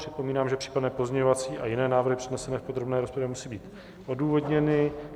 Připomínám, že případné pozměňovací a jiné návrhy přednesené v podrobné rozpravě musí být odůvodněny.